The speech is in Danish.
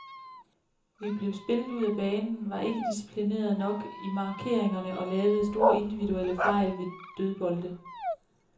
Vi blev spillet ud af banen, var ikke disciplinerede nok i markeringerne og lavede store individuelle fejl ved dødbolde.